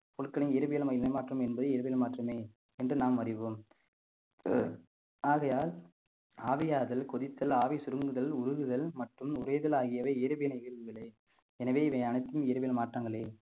பொருட்களின் இயற்பியல் இடமாற்றம் என்பது எரிபொருள் மாற்றமே என்று நாம் அறிவோம் ஆகையால் ஆவியாதல் கொதித்தல் ஆவி சுருங்குதல் உருகுதல் மற்றும் உறைதல் ஆகியவை வேதி வினை ஏதுமில்லை எனவே இவன் அனைத்தும் இயற்பியல் மாற்றங்களே